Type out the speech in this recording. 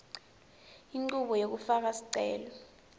inchubo yekufaka sicelo